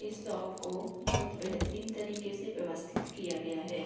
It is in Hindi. इस शॉप को बहोत बेहतरीन तरीके से व्यवस्थित किया गया है।